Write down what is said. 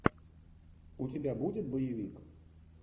у тебя будет боевик